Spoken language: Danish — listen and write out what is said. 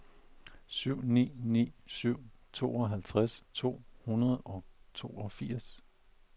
syv ni ni syv tooghalvtreds to hundrede og toogfirs